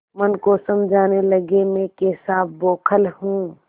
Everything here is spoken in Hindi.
मन को समझाने लगेमैं कैसा बौखल हूँ